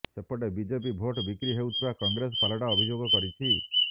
ସେପଟେ BJP vote ବିକ୍ରି ହେଉଥିବା କଂଗ୍ରେସ ପାଲଟା ଅଭିଯୋଗ କରିଛି